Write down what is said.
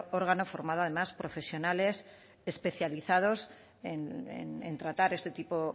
órgano formado además por profesionales especializados en tratar este tipo